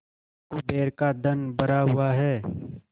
कुबेर का धन भरा हुआ है